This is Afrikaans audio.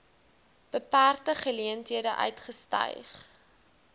beperkte geleenthede uitgestyg